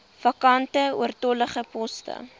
vakante oortollige poste